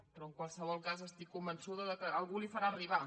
però en qualsevol cas estic convençuda que algú la hi farà arribar